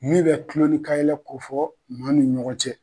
Ne bɛ kulon ni ka yɛlɛ ko fɔ maa nu ɲɔgɔn cɛ.